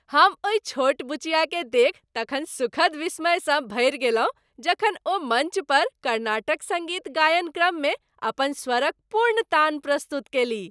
हम ओहि छोट बुचियाके देखि तखन सुखद विस्मयसँ भरि गेलहुँ जखन ओ मञ्च पर कर्नाटक सङ्गीत गायन क्रममे अपन स्वरक पूर्ण तान प्रस्तुत कयलीह।